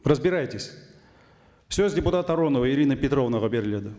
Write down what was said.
разбирайтесь сөз депутат аронова ирина петровнаға беріледі